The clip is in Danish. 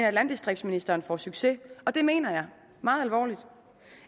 at landdistriktsministeren får succes og det mener jeg meget alvorligt